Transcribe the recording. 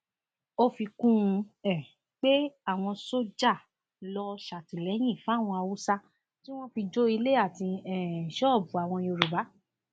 ó fi kún un um pé àwọn sójà lọ ṣàtìlẹyìn fáwọn haúsá tí wọn fi jó ilé àti um ṣọọbù àwọn yorùbá